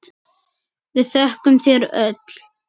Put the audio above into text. Við þökkum þér öll.